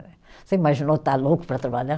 Você imaginou estar louco para trabalhar?